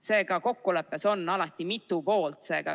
Seega, kokkuleppes on alati mitu poolt.